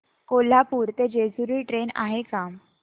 कोल्हापूर ते जेजुरी ट्रेन आहे का